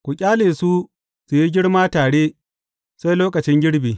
Ku ƙyale su su yi girma tare sai lokacin girbi.